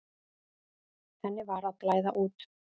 Henni var að blæða út.